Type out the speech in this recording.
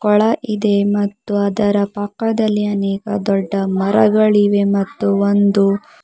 ಕೊಳ ಇದೆ ಮತ್ತು ಅದರ ಪಕ್ಕದಲ್ಲಿ ಅನೇಕ ದೊಡ್ಡ ಮರಗಳಿವೆ ಮತ್ತು ಒಂದು--